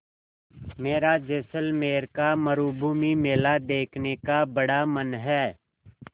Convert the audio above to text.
मेरा जैसलमेर का मरूभूमि मेला देखने का बड़ा मन है